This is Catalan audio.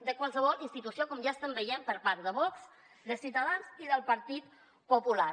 de qualsevol institució com ja estem veient per part de vox de ciutadans i del partit popular